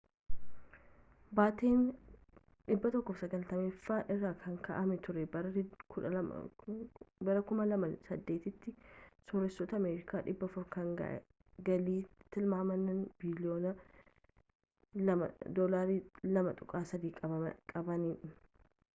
bateen 190ffaa irra ka’amee ture bara 2008’ti sorreesoota ameerikaa 400 kan galii tilmaaman biliyoona $2.3 qabanin